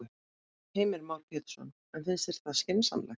Heimir Már Pétursson: En finnst þér það skynsamlegt?